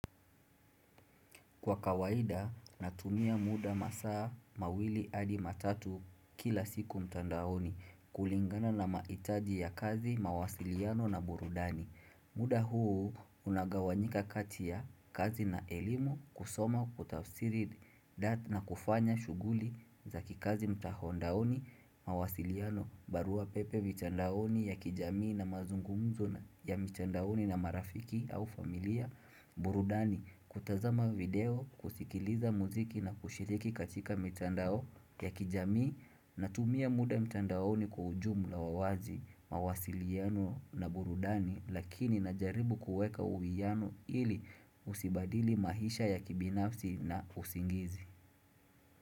Kwa kawaida natumia muda masaa mawili hadi matatu kila siku mtandaoni kulingana na maitaji ya kazi mawasiliano na burudani. Muda huu unagawanyika kati ya kazi na elimu kusoma kutafsiri data na kufanya shuguli za kikazi mtahondaoni mawasiliano barua pepe mitandaoni ya kijamii na mazungumzo ya mtandaoni na marafiki au familia burudani. Kutazama video, kusikiliza muziki na kushiriki katika mitandao ya kijami na tumia muda mitandaoni kwa ujumu la wawazi, mawasiliano na burudani Lakini na jaribu kueka uwiyano ili usibadili mahisha ya kibinafsi na usingizi.